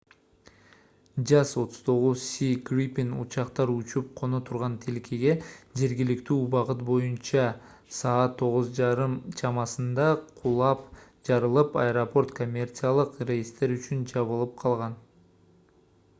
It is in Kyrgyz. jas 39c gripen учактар учуп-коно турган тилкеге жергиликтүү убакыт боюнча 2:30 utc саат 9:30 чамасында кулап жарылып аэропорт коммерциялык рейстер үчүн жабылып калган